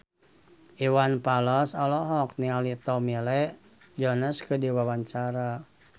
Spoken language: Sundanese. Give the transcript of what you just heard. Iwan Fals olohok ningali Tommy Lee Jones keur diwawancara